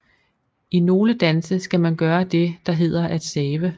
I nogle danse skal man gøre det der hedder at save